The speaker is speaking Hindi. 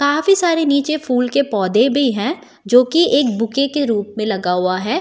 काफी सारे नीचे फूल के पौधे भी हैं जो कि एक बुके के रूप में लगा हुआ है।